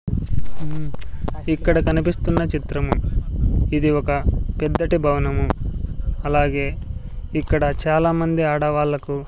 మ్మ్ ఇక్కడ కనిపిస్తున్న చిత్రము ఇది ఒక పెద్దటి భవనము అలాగే ఇక్కడ చాలామంది ఆడవాళ్లకు--